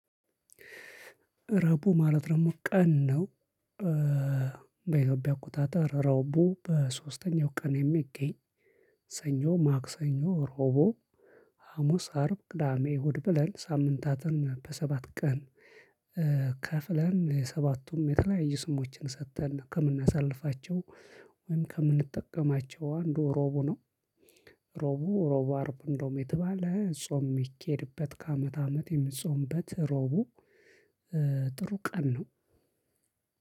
ረቡዕ ማለት ደግሞ ቀን ነው። በኢትዮጵያ አቆጣጠር ረቡዕ በሶስተኛው ቀን የሚገኝ። ሰኞ ማክሰኞ ረቡዕ ሀሙስ አርብ ቅዳሜ እሁድ ብለን ሳምንታትን በሰባት ቀን። ከፍለን ሰባቱም የተለያየ ስሞችን ሰጥተን ከምናሳልፋቸው። ወይም ከምንጠቀማቸው አንዱ ሮቡ ነው። ሮቡ ሮቡ አርብ እንደውም የተባለ ጾም የሚኬድበት ከአመት አመት የሚጾምበት ሮቡ። ጥሩ ቀን ነው።